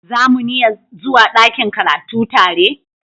Za muniya zuwa dakin karatu tare?